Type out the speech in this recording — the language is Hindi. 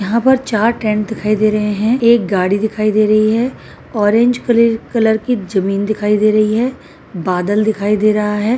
यहाँं पर चार टेंट दिखाई दे रहे हैं। एक गाड़ी दिखाई दे रही है। ऑरेंज किलि कलर की जमीन दिखाई दे रही है। बादल दिखाई दे रहा है।